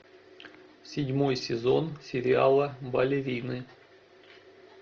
седьмой сезон сериала балерины